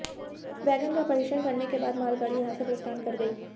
wagon का परीक्षण करने के बाद मालगाड़ी यहां से प्रस्थान कर गई